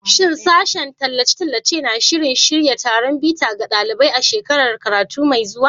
Shin Sashen Tallace-tallace na shirin shirya taron bita ga ɗalibai a shekarar karatu mai zuwa?